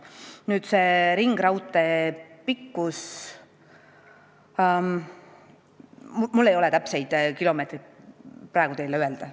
Mis puutub ringraudtee pikkusesse, siis ma ei saa täpseid kilomeetreid praegu teile öelda.